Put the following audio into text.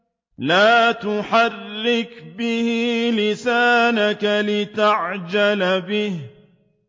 لَا تُحَرِّكْ بِهِ لِسَانَكَ لِتَعْجَلَ بِهِ